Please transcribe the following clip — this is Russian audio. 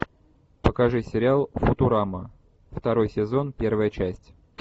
покажи сериал футурама второй сезон первая часть